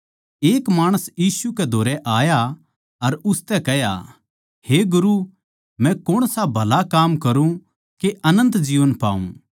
एक माणस यीशु कै धोरै आया अर उसतै कह्या हे गुरू मै कौणसा भला काम करूँ के अनन्त जीवन पाऊँ